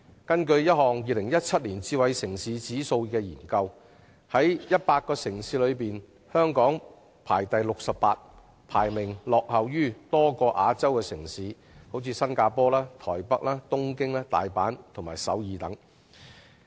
根據一項 "2017 智慧城市指數"研究，在100個城市中，香港位列第六十八名，排名落後於多個亞洲城市，例如新加坡、台北、東京、大阪和首爾等。